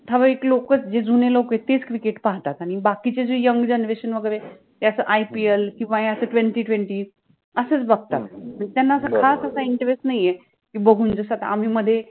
ठराविक लोकच जे जुने लोक आहेत तेच cricket पाहातात आणि बाकिचे जे YOUNG GENERATION वगेरे ते असं IPL किंवा हे असं twenty twenty असेच बघतात, म्हणजे त्याना असा खास असा INTEREST नाहि आहे, कि बघून जसा आम्ही मध्ये